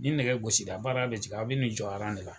Ni nɛgɛ gosi la baara bɛ jigin, aw b'i n'i jɔ de la